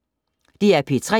DR P3